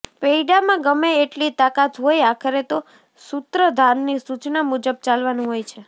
પૈડામાં ગમે એટલી તાકાત હોય આખરે તો સૂત્રધારની સૂચના મુજબ ચાલવાનું હોય છે